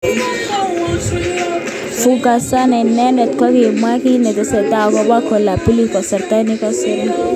Fugazzotto inendet kokimwa kit nekitestai akobo Koulibaly kasarta nikosire.